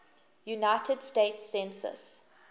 united states census